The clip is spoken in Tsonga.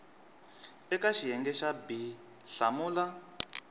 eka xiyenge xa b hlamula